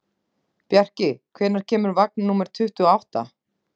Bjarki, hvenær kemur vagn númer tuttugu og átta?